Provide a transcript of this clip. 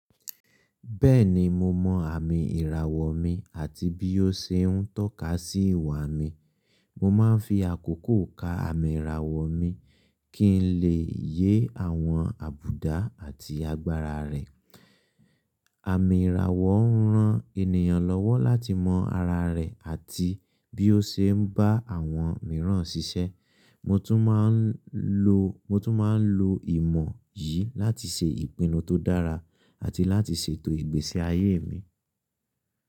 Bẹ́ẹ̀ni, mo mọ àmì ìràwọ̀ mi àti bí ó ṣe ń tọ́ka sí ìwà mi. Mo máa ń fi àkókò ka àmì ìràwọ̀ mi kí n lè yé àwọn àbùdá àti agbára rẹ̀. Àmì ìràwọ̀ ń ran ènìyàn lọ́wọ́ láti mọ ara rẹ̀ àti bí ó ṣe ń bá àwọn mìíràn ṣiṣẹ́. Mo tún máa ń lo, mo tún máa ń lo ìmọ̀ yìí láti ṣe ìpinnu tó dára àti láti ṣètò ìgbésí ayé mi.